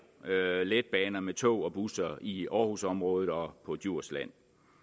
letbaner med tog og busser i aarhusområdet og på djursland